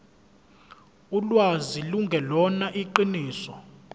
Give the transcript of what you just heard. ulwazi lungelona iqiniso